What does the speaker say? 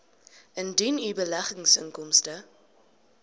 indien u beleggingsinkomste